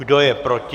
Kdo je proti?